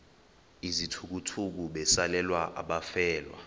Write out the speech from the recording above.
izithukuthuku besalela abafelwa